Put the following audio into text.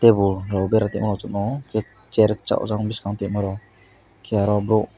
keho ro bera tngmo chwngmo keha chair sojang bwskango tongma rok kera rok bo.